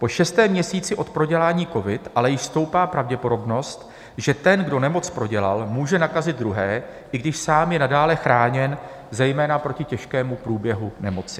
Po šestém měsíci od prodělání covidu ale již stoupá pravděpodobnost, že ten, kdo nemoc prodělal, může nakazit druhé, i když sám je nadále chráněn, zejména proti těžkému průběhu nemoci.